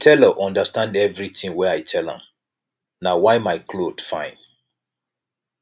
the tailor understand everything wey i tell am na why my cloth fine